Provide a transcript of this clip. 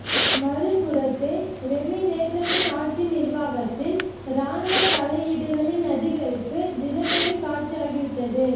மறுபுறத்தே ரேமினேற்றரின் ஆட்சி நிர்வாகத்தில் இராணுவத் தலையீடுகளின் அதிகரிப்பு தினசரி காட்சியாகிவிட்டது